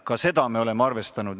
Ka seda me oleme arvestanud.